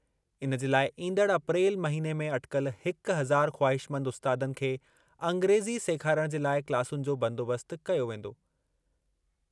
इन जे लाइ ईंदड़ अप्रैल महिने में अटिकल हिक हज़ार ख़्वाहिशमंद उस्तादनि खे अंग्रेज़ी सेखारणु जे लाइ क्लासुनि जो बंदोबस्त कयो वेंदो।